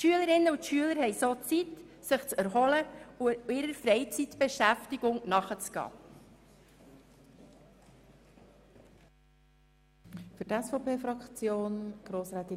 Die Schülerinnen und Schüler haben dadurch Zeit, sich zu erholen und einer Freizeitbeschäftigung nachzugehen.